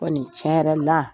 Ko nin tiɲɛ yɛrɛ la,